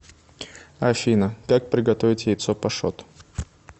афина как приготовить яйцо пашот